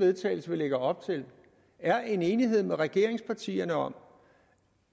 vedtagelse vi lægger op til er en enighed med regeringspartierne om